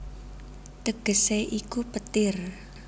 Tegesé iku Petir